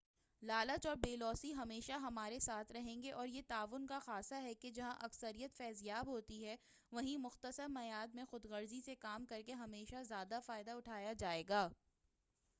لالچ اور بے لوثی ہمیشہ ہمارے ساتھ رہیں گے اور یہ تعاون کا خاصہ ہے کہ جہاں اکثریت فیض یاب ہوتی ہے وہیں مختصر میعاد میں خود غرضی سے کام کرکے ہمیشہ زیادہ فائدہ اٹھایا جائے گا